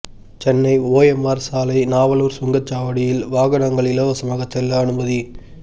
Chennai OMR சாலை நாவலூர் சுங்க சாவடியில் வாகனங்கள் இலவசமாக செல்ல அனுமதி